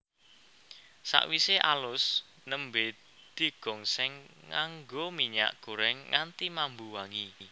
Sakwise alus nembé digongsèng nganggo minyak gorèng nganti mambu wangi